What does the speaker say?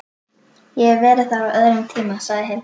Ég hef verið þar á öðrum tíma, sagði Hilmar.